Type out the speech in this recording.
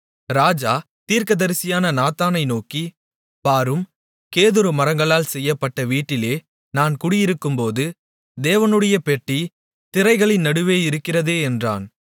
ராஜா தீர்க்கதரிசியான நாத்தானை நோக்கி பாரும் கேதுரு மரங்களால் செய்யப்பட்ட வீட்டிலே நான் குடியிருக்கும்போது தேவனுடைய பெட்டி திரைகளின் நடுவே இருக்கிறதே என்றான்